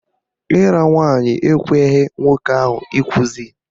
Ịra nwaanyị ekweghị nwoke ahụ ịkwụsị